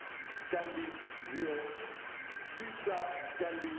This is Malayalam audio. can be zero theta can be